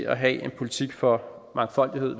at have en politik for mangfoldighed